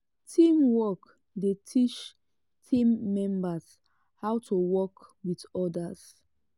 teamwork dey teach team members how to work with others.